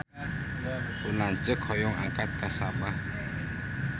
Pun lanceuk hoyong angkat ka Sabah